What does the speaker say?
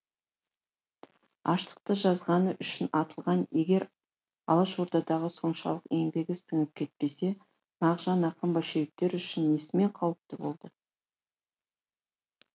аштықты жазғаны үшін атылған егер алашордаға соншалық еңбегі сіңіп кетпесе мағжан ақын большевиктер үшін несімен қауіпті болды